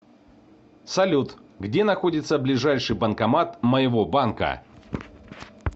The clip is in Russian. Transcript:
салют где находится ближайший банкомат моего банка